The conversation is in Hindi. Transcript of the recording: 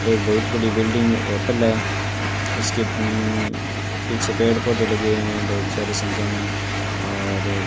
एक बहुत बड़ी बिल्डिंग होटल है इसके पीछे पेड़ पौधे लगे हुए हैं बहुत सारी संख्या में और --